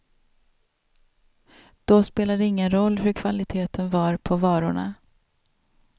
Då spelade det ingen roll hur kvaliteten var på varorna.